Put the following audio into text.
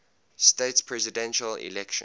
states presidential election